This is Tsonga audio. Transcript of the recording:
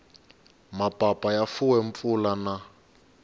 mapapa ya fuwe mpfula na